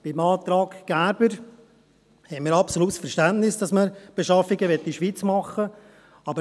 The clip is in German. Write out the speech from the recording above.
Beim Antrag Gerber haben wir absolut Verständnis dafür, dass man die Beschaffungen in der Schweiz machen will.